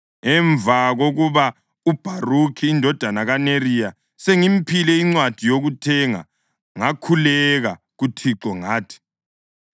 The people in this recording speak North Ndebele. Emva kokuba uBharukhi indodana kaNeriya sengimphile incwadi yokuthenga, ngakhuleka kuThixo ngathi: